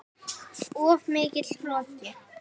Of mikill hroki.